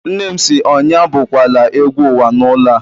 Nne m si, onye abụ kwala egwú uwa n'ulo a!